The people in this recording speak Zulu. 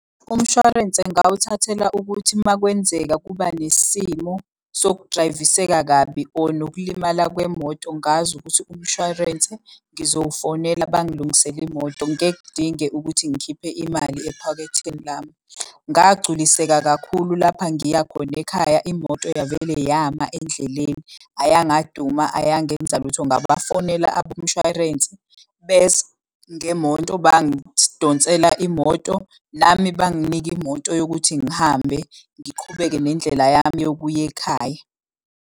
Umshwarense ngawuthathela ukuthi makwenzeka kuba nesimo sokudrayiviseka kabi or nokulimala kwemoto ngazi ukuthi umshwarense ngizowufonela bangilungisele imoto. Ngeke kudinge ukuthi ngikhiphe imali ephaketheni lami. Ngagculiseka kakhulu lapha ngiya khona ekhaya imoto yavele yama endleleni, ayangaduma, eyangenza lutho. Ngabafonela abomshwarensi, beza ngemoto bangidonsela imoto. Nami banginika imoto yokuthi ngihambe ngiqhubeke nendlela yami yokuya ekhaya.